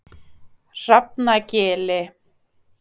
Hrafnagili